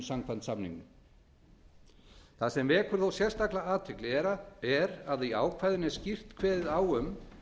samkvæmt samningnum það sem vekur þó sérstaka athygli er að í ákvæðinu er skýrt kveðið á um